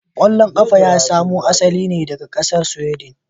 Kwallon kafa ya samo asali ne daga kasar Sweden.